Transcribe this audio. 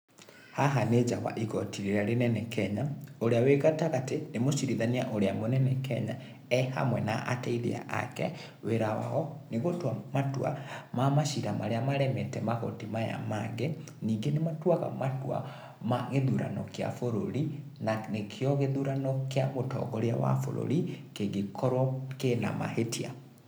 Haha nĩ nja wa igoti rĩrĩa rĩnene Kenya, ũrĩa wĩ gatagatĩ nĩ mũciriithania ũrĩa mũnene Kenya, ehamwe na ateithia ake. Wĩra wao, nĩgũtua matua ma macacira marĩa maremete magoti maya mangĩ, ningĩ nĩmatuaga matua ma gĩthurano gĩa bũrũri, na nĩkĩo gĩthurano kĩa mũtongoria wa bũrũri kĩngĩkorwo kĩna mahĩtia.